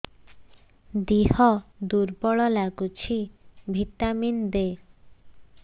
ଦିହ ଦୁର୍ବଳ ଲାଗୁଛି ଭିଟାମିନ ଦେ